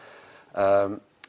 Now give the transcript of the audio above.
það